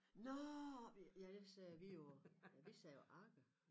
Nåh oppe i ja jeg sagde vi jo ja vi sagde jo Agger